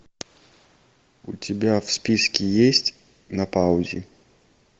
у тебя в списке есть на паузе